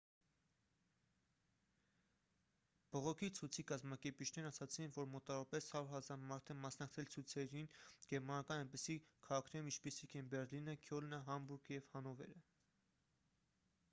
բողոքի ցույցի կազմակերպիչներն ասացին որ մոտավորապես 100 000 մարդ է մասնակցել ցույցերին գերմանական այնպիսի քաղաքներում ինչպիսիք են բեռլինը քյոլնը համբուրգը և հանովերը